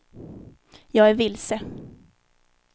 jag är vilse